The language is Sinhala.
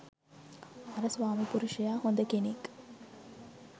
අර ස්වාමිපුරුෂයා හොද කෙනෙක්